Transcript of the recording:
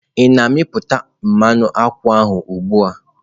Ị na-meputá mmanụ nkwụ ahụ ugbu a?